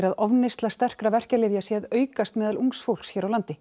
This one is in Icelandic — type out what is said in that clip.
að ofneysla sterkra verkjalyfja sé að aukast meðal ungs fólks hér á landi